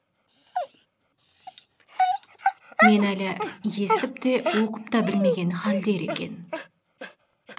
мен әлі есітіп те оқып та білмеген халдер екен